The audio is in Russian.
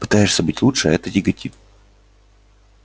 пытаешься быть лучше а это тяготит